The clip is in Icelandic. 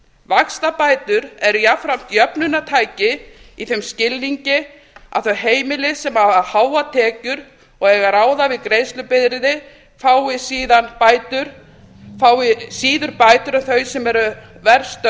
vaxtabætur er jafnframt jöfnunartæki í þeim skilningi að þau heimili sem hafa háar tekjur og eiga að ráða við greiðslubyrði fái síður bætur en þau sem eru verr stödd